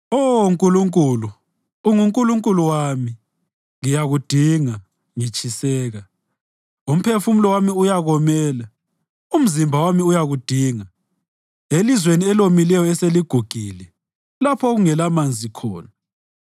Oh Nkulunkulu, unguNkulunkulu wami, ngiyakudinga ngitshiseka; umphefumulo wami uyakomela, umzimba wami uyakudinga, elizweni elomileyo eseligugile lapho okungelamanzi khona.